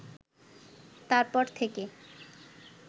তারপর থেকে